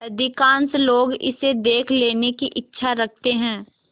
अधिकांश लोग इसे देख लेने की इच्छा रखते हैं